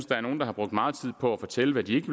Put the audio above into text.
der er nogle der har brugt meget tid på at fortælle hvad de ikke